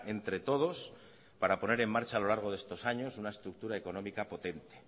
entre todos para poner en marcha a lo largo de estos años una estructura económica potente